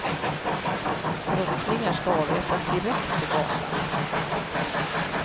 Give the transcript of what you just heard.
Brottslingar skall avrättas direkt på gatan.